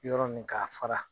Y yɔrɔ min'a fara